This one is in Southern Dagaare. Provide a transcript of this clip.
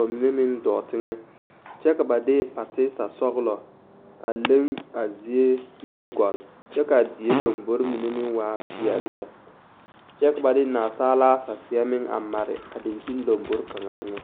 bamine meŋ dɔɔ teŋa kyɛ ka ba de pati-sɔglɔ a leŋ a zie mine gɔgle kyɛ ka die lambori mine meŋ waa peɛle lɛ kyɛ ba de nansaalaa sɛseɛ meŋ a mare a daŋkyini kaŋa eŋɛ.